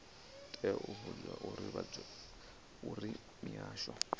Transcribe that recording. tea u vhudzwa uri mihasho